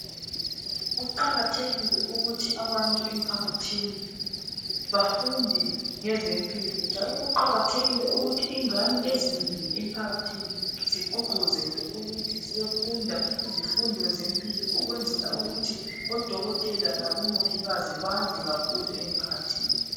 Kuqakathekile ukuthi abantu emphakathini bafunde ngezempilo njalo kuqakathekile ukuthi ingane ezinengi emphakathini siqhuqhuzelwe ukuthi ziyefundo izifundo zempilo ukwenzela ukuthi odokotela labomongikazi bande kakhulu emphakathini.